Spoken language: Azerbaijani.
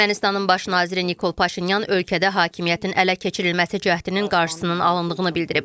Ermənistanın baş naziri Nikol Paşinyan ölkədə hakimiyyətin ələ keçirilməsi cəhdinin qarşısının alındığını bildirib.